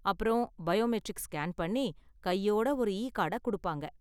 அப்பறம் biometric scan பண்ணி, கையோட ஒரு இகார்டை கொடுப்பாங்க.